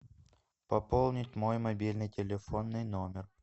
пополнить мой мобильный телефонный номер